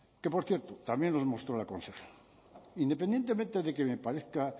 que por cierto también nos mostró la consejera independientemente